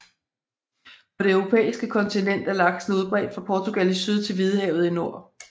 På det europæiske kontinent er laksen udbredt fra Portugal i syd til Hvidehavet i nord